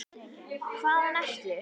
Hvaðan ertu?